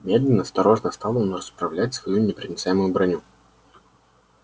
медленно осторожно стал он расправлять свою непроницаемую броню